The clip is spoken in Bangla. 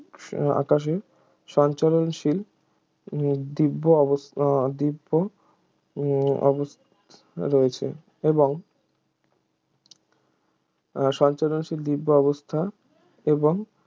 আকাশে সঞ্চরণশীল দিব্য অবস উহ দিব্য উহ অবস রয়েছে এবং সঞ্চরণশীল দিব্য অবস্থা এবং